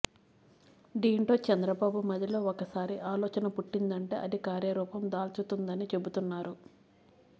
దీంతో చంద్రబాబు మదిలో ఒకసారి ఆలోచన పుట్టిందంటే అది కార్యరూపం దాల్చుతుందని చెబుతుతున్నారు